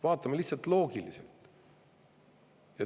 Vaatame lihtsalt loogiliselt.